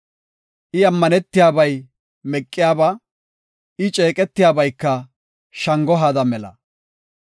I ammanetiyabay meqiyaba; I ceeqetiyabayka shango haada mela.